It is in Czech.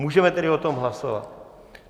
Můžeme tedy o tom hlasovat?